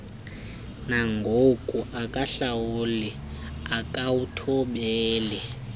nangoku akahlawuli akawuthobeli